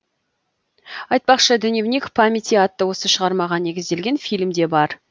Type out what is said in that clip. айтпақшы дневник памяти атты осы шығармаға негізделген фильм де бар